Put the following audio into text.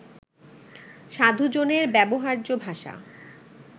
সাধুজনের ব্যবহার্য ভাষা